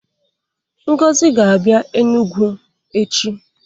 Ngozi ga-abịa Enugwu echi.